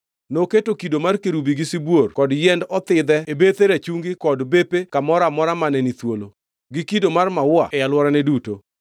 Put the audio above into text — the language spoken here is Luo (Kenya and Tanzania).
Noketo kido mar kerubi gi sibuor kod yiend othidhe e bethe rachungi kod bepe kamoro amora mane ni thuolo, gi kido mar maua e alworane duto.